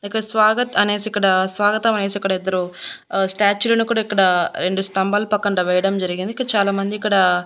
ఇక్కడ స్వాగత్ అనేసి ఇక్కడ స్వాగతం అనేసి ఇక్కడ ఇద్దరు ఆ స్టాట్యూ లను కూడా ఇక్కడ రెండు స్తంభాల పక్కన వేయడం జరిగింది ఇక్కడ చాలామంది ఇక్కడ --